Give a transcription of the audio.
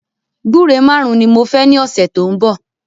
Gbúre márùn ni mo fẹ ní ọ̀sẹ̀ tó ń bọ̀